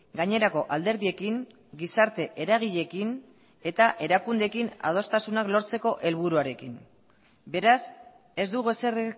gainerako alderdiekin gizarte eragileekin eta erakundeekin adostasunak lortzeko helburuarekin beraz ez dugu ezer